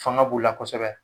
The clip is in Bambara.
Fanga b'u la kɔsɛbɛ